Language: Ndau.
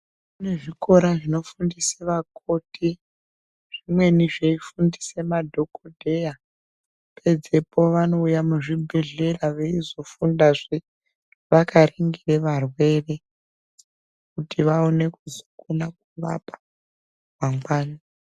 Kune zvikora zvinofundisa vakoti zvimweni zveifundisa madhokodheya pedzepo vanouya muzvibhedhlera veizofundazve vakaningire varwere kuti vaone kukone kuzorapa mangwani.